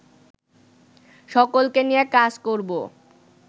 সকলকে নিয়ে কাজ করবো